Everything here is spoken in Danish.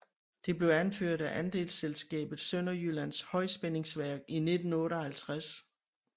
Det blev opført af andelsselskabet Sønderjyllands Højspændingsværk i 1958